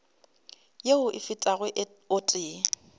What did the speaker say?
yeo e fetago o tee